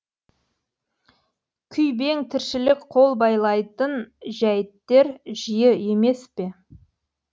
күйбең тіршілік қол байлайтын жәйттер жиі емес пе